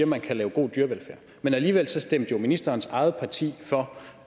man kan lave god dyrevelfærd men alligevel stemte ministerens eget parti jo for